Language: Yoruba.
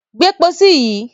Gbé pósí yìí!